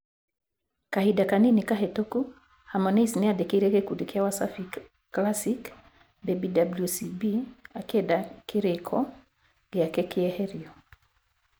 Kahinda kanini kahĩtũku, Harmonize nĩandĩkĩire gĩkundi kĩa Wasafi Classic Baby WCB akĩenda kĩrĩĩko gĩake kĩeherio.